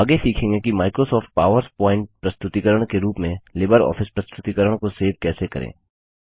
आगे सीखेंगे कि माइक्रोसॉफ्ट पावर प्वॉइंट प्रस्तुतिकरण के रूप में लिबर ऑफिस प्रस्तुतिकरण को सेव कैसे करें